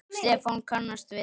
Stefán kannast við það.